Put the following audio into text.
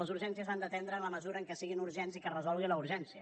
les urgències s’han d’atendre en la mesura que siguin urgents i que es resolgui la urgència